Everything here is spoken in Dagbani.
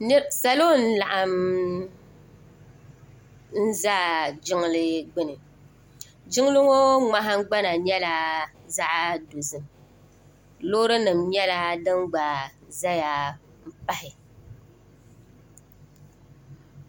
Salo n laɣim za Jijli gbini jiŋli ŋɔ ŋmahingbana nyɛla zaɣa dozim Loori nima nyɛla din gba zaya m pahi.